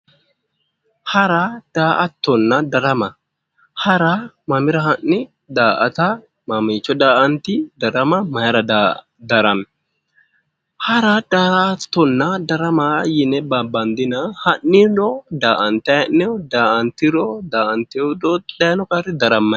Hara daa'atonna darama hara mamira ha'ni daa'ata mamiicho daa'anti darama mayira darami hara daa'atto yine babandina ha'nenno daa'antayi hee'noyi daa'antiro